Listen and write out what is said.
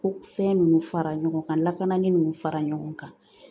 Ko fɛn ninnu fara ɲɔgɔn kan lakanani ninnu fara ɲɔgɔn kan